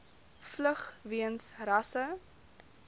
vlug weens rasse